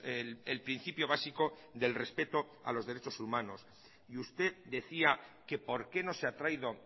el principio básico del respeto a los derechos humanos y usted decía que por qué no se ha traído